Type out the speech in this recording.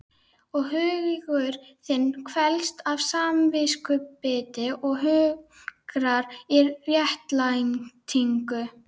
Og hugur þinn kvelst af samviskubiti og hungrar í réttlætingu.